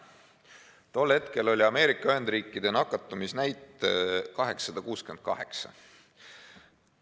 Tol hetkel oli Ameerika Ühendriikide nakatumisnäitaja 868.